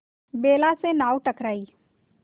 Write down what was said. बेला से नाव टकराई